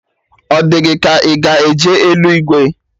Ọ di gị ka ị ga-eje eluigwe?